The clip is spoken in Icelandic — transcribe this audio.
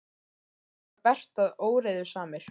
Það er líka bert að óreiðusamir